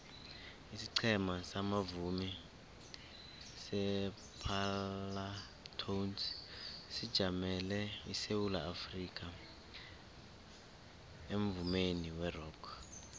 isiqhema sabavumi separlatones sijamele isewula afrikha emvumeni werock